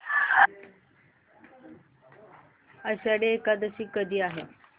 आषाढी एकादशी कधी आहे